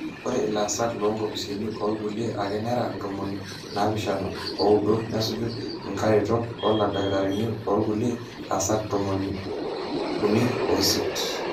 ore ilaasak loonkopisini orkulie ake nera ntomoni naapishana ooudo nesuju inkaretok ooldakitarini orkulie aasak tomoniuni oisiet